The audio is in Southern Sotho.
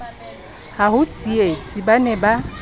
habo tsietsi ba ne ba